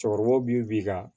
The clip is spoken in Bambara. Cɛkɔrɔbaw bi b'i ka